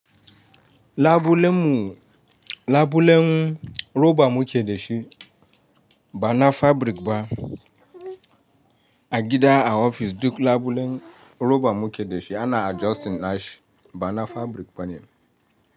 Labulen roban muke da shi bana fabric ba, a gida a ofis duk labulen roban muke da shi ana adjustingashi bana fabric bane.